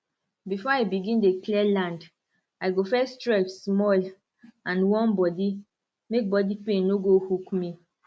before i begin dey clear land i go first stretch small and warm body make body pain no go hook me